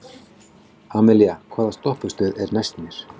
Amalía, hvaða stoppistöð er næst mér?